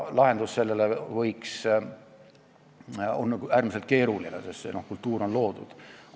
Lahendus on äärmiselt keeruline, sest see kultuur on loodud.